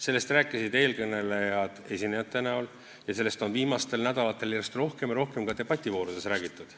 Sellest rääkisid eelkõnelejad ja sellest on viimastel nädalatel järjest rohkem ja rohkem ka debativoorudes räägitud.